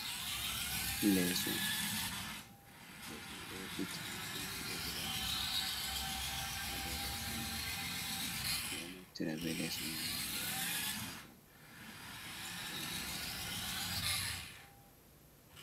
Leeso, Leeso may ɗo we'iti, don filo gudaa tati ha dow leeso may. Ɓe ɗo aftira bee Leeso may ngam ɓe waala ɓe siwta, koo ma ɓe waala ɓe ɗaana.